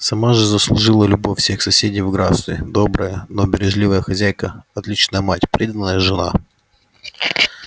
сама же заслужила любовь всех соседей в графстве добрая но бережливая хозяйка отличная мать преданная жена